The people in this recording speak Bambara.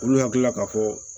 Olu hakili la k'a fɔ